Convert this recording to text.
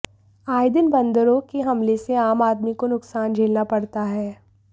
आए दिन बंदरों के हमले से आम आदमी को नुकसान झेलना पड़ता है